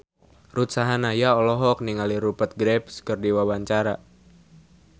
Ruth Sahanaya olohok ningali Rupert Graves keur diwawancara